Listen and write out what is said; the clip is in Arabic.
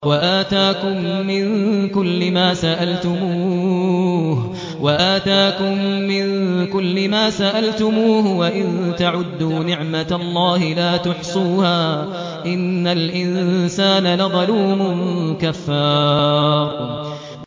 وَآتَاكُم مِّن كُلِّ مَا سَأَلْتُمُوهُ ۚ وَإِن تَعُدُّوا نِعْمَتَ اللَّهِ لَا تُحْصُوهَا ۗ إِنَّ الْإِنسَانَ لَظَلُومٌ كَفَّارٌ